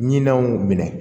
Ɲinanw minɛ